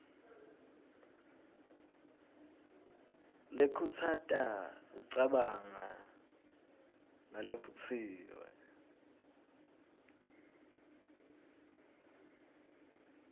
lekhutsata kucabanga nalevutsiwe